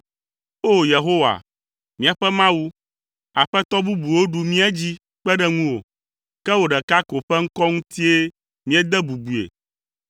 O! Yehowa, míaƒe Mawu, aƒetɔ bubuwo ɖu mía dzi kpe ɖe ŋuwò, ke wò ɖeka ko ƒe ŋkɔ ŋutie míede bubue.